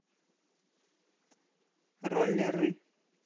роллеры